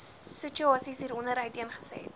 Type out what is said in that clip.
situasie hieronder uiteengesit